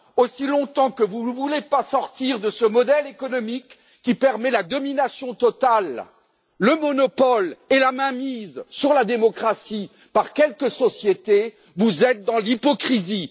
Aussi longtemps que vous ne voudrez pas sortir de ce modèle économique qui permet la domination totale, le monopole et la mainmise sur la démocratie par quelques sociétés, vous serez dans l'hypocrisie.